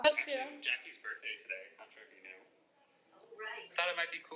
Hvanneyri til að hún gæti veitt þessu rjómabúi forstöðu.